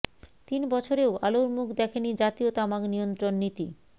তিন বছরেও আলোর মুখ দেখেনি জাতীয় তামাক নিয়ন্ত্রণ নীতি